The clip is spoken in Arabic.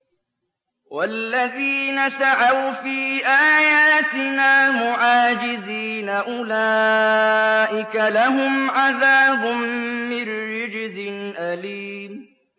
وَالَّذِينَ سَعَوْا فِي آيَاتِنَا مُعَاجِزِينَ أُولَٰئِكَ لَهُمْ عَذَابٌ مِّن رِّجْزٍ أَلِيمٌ